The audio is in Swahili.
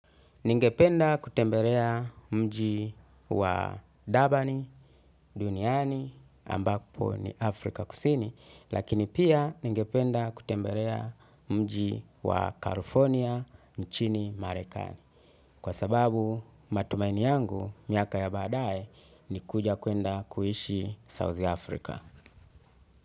Ningependa kutembelea mji wa durban duniani ambapo ni Afrika kusini lakini pia ningependa kutembelea mji wa california nchini marekani. Kwa sababu matumaini yangu miaka ya badaae ni kuja kuenda kuishi South Africa.